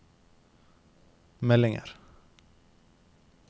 meldinger